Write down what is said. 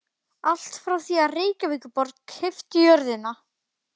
Allt frá því að Reykjavíkurborg keypti jörðina